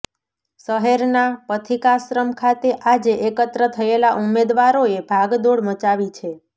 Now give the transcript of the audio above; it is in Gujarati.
શહેરના પથિકાશ્રમ ખાતે આજે એકત્ર થયેલા ઉમેદવારોએ ભાગદોડ મચાવી છે